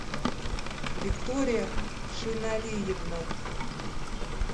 виктория шиналиевна